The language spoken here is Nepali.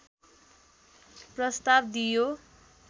प्रस्ताव दिइयो